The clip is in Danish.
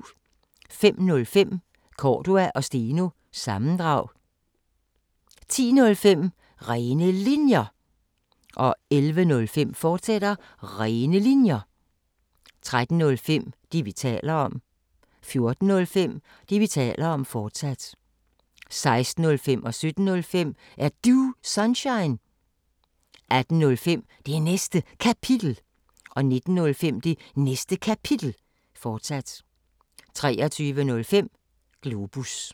05:05: Cordua & Steno – sammendrag 10:05: Rene Linjer 11:05: Rene Linjer, fortsat 13:05: Det, vi taler om 14:05: Det, vi taler om, fortsat 16:05: Er Du Sunshine? 17:05: Er Du Sunshine? 18:05: Det Næste Kapitel 19:05: Det Næste Kapitel, fortsat 23:05: Globus